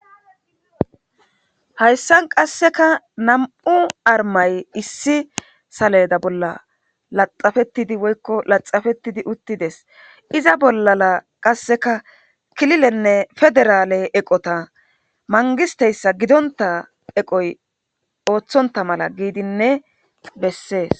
Hayssan qasseka nam'u armay issi saleda bolla laxafetidi woykko laxafetidi uttides iza bollaa qasseka kililenne federaale eqota mangisteyssa gidonta eqoy ooththonta mala giidinne bessees.